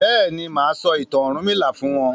béèni má sọ ìtàn ọrunmila fún wón.